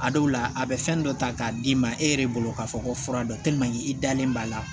A dɔw la a bɛ fɛn dɔ ta k'a d'i ma e yɛrɛ bolo k'a fɔ ko fura dɔ i dalen b'a la